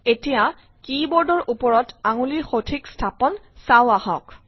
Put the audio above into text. এতিয়া কী বোৰ্ডৰ ওপৰত আঙুলিৰ সঠিক স্থাপন চাওঁ আহক